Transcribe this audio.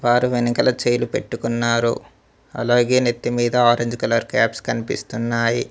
వారు వెనకల చెయ్లు పెట్టుకున్నారు అలాగే నెత్తి మీద ఆరెంజ్ కలర్ క్యాప్స్ కనిపిస్తున్నాయి.